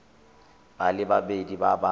ba le babedi ba ba